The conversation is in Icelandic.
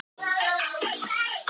Fjalarr, hækkaðu í hátalaranum.